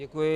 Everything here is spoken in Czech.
Děkuji.